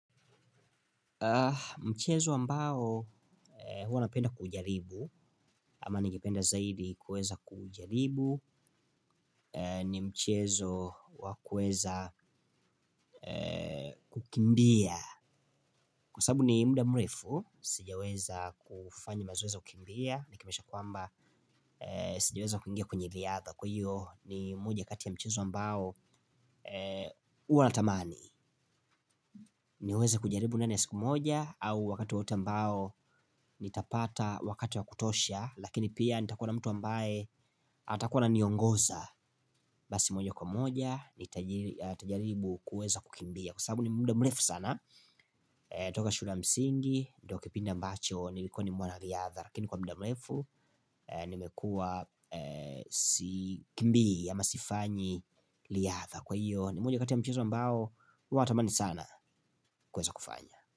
Mchezo ambao huwa napenda kujaribu ama ningependa zaidi kueza kujaribu ni mchezo wa kueza kukimbia, kwa sababu ni muda mrefu sijaweza kufanya mazoezi ya kukimbia ni kimanisha kwamba sijaweza kuingia kwenye riadha. Kwa hiyo ni moja kati ya mchezo ambao huwa natamani niweze kujaribu ndani ya siku moja au wakati wowote ambao nitapata wakati wa kutosha, lakini pia nitakuwa mtu ambaye atakuwa ananiongoza. Basi moja kwa moja nitajaribu kueza kukimbia. Kwa sababu ni muda mrefu sana. Toka shule ya msingi ndio kipindi ambacho nilikuwa ni mwana riadha, lakini kwa muda mrefu nimekua si kimbi ama sifanyi riadha, kwa hiyo ni moja kati ya mchezo ambao natamani sana kueza kufanya.